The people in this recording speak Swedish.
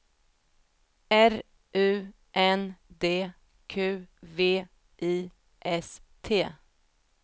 R U N D Q V I S T